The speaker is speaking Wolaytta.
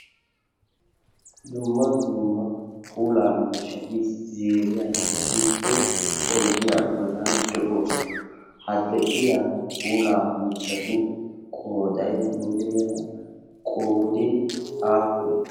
Dumma dumma pulaa miishati zeeriyan issippe oidiyaa bollan de'oosona hadde'iya pulaa miishatu qodai muleera qodin apuli?